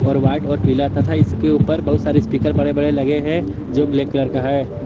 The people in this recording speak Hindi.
और वाइट और पीला तथा इसके ऊपर बहुत सारे स्पीकर बड़े बड़े लगे हैं जो ब्लैक कलर का है।